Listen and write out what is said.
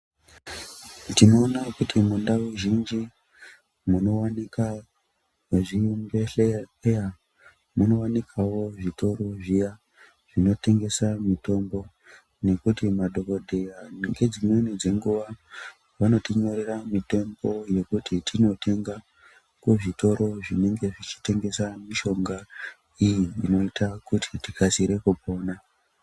Tinoona kuti mundau zhinji munowanika zvibhehleya munowanikwawo zvitoro zviya zvinotengesa mitombo ngekuti madhokodheya dzimweni dzengjwa vanotinyorera mitombo kuti tizotenga kuzvitoro zvinenga zvietengesa mishonga iyi inoita kuti tikasire kupona.